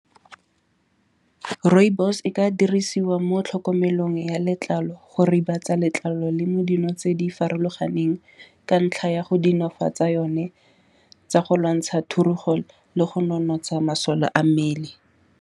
Rooibos e ka dirisiwa mo tlhokomelong ya letlalo go ribatsa letlalo le mo dino tse di farologaneng. Ka ntlha ya go dinofatsa yone tsa go lwantsha thurugo le go nonotsha masole a mmele.